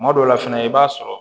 Kuma dɔw la fɛnɛ i b'a sɔrɔ